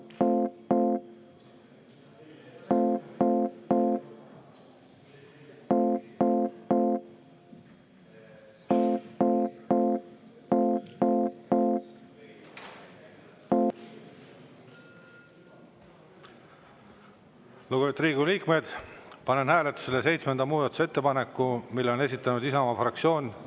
Lugupeetud Riigikogu liikmed, panen hääletusele seitsmenda muudatusettepaneku, mille on esitanud Isamaa fraktsioon.